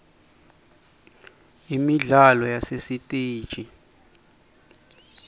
imidlalo yasesitesi